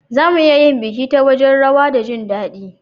Za mu iya yin biki ta wajen rawa da jin dadi.